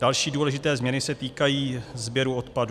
Další důležité změny se týkají sběru odpadu.